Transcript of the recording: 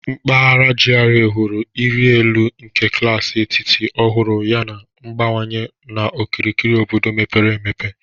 Mpaghara GRA hụrụ ịrị elu nke klaasị etiti ọhụrụ yana ngbanwe n'okirikiri obodo mepere emepe.